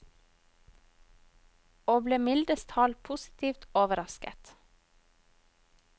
Og ble mildest talt positivt overrasket.